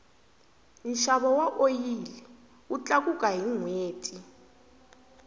nxavo wa oyili wu tlakuka hi nhweti